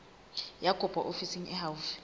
ya kopo ofising e haufi